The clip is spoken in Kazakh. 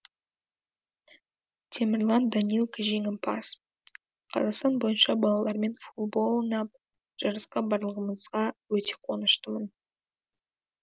темірлан данилко жеңімпаз қазақстан бойынша балалармен футбол ойнап жарысқа барғанымызға өте қуаныштымын